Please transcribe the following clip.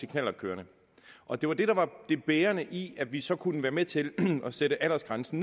knallertkørerne og det var det der var det bærende i at vi så kunne være med til at sætte aldersgrænsen